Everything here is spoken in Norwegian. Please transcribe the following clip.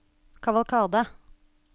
kavalkade